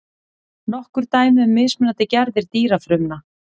Nokkur dæmi um mismunandi gerðir dýrafrumna.